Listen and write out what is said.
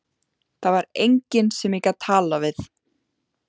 Það var enginn sem ég gat talað við.